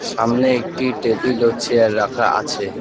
সামনে একটি টেবিল ও চেয়ার রাখা আছে।